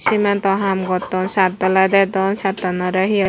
cementto haam gotton shad dalai dedon shadanorey he hiye.